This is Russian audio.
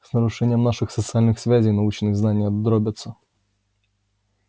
с нарушением наших социальных связей научные знания дробятся